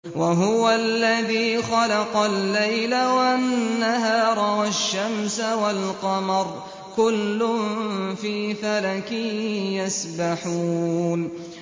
وَهُوَ الَّذِي خَلَقَ اللَّيْلَ وَالنَّهَارَ وَالشَّمْسَ وَالْقَمَرَ ۖ كُلٌّ فِي فَلَكٍ يَسْبَحُونَ